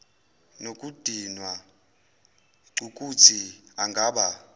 nokudinwa cukuthi angaba